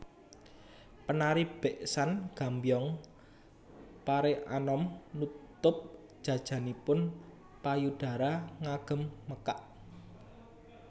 Penari beksan Gambyong Pareanom nutup jajanipun payudara ngagem mekak